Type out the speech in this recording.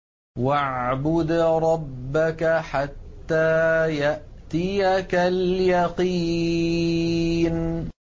وَاعْبُدْ رَبَّكَ حَتَّىٰ يَأْتِيَكَ الْيَقِينُ